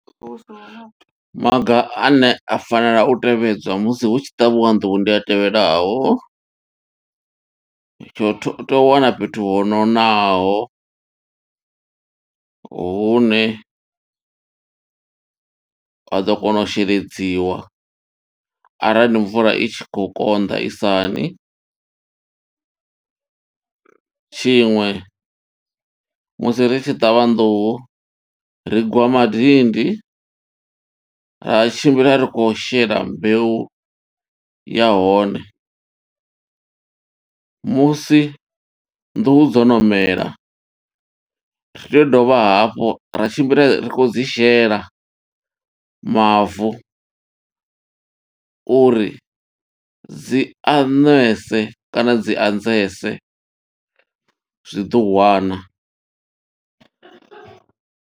Maga ane a fanela u tevhedzwa musi hu tshi ṱavhiwa nḓuhu ndi a tevhelaho, tsho u tho. U tea u wana fhethu ho nonaho, hune ha ḓo kona u sheledziwa arali mvula i tshi khou konḓa, i sa ṋi. Tshiṅwe musi ri tshi ṱavha nḓuhu, ri gwa madindi ra tshimbila ri khou shela mbeu ya hone. Musi nḓuhu dzono mela, ri tea u dovha hafhu ra tshimbila ri khou dzi shela mavu, uri dzi a ṋwese kana dzi anzese zwiḓowana.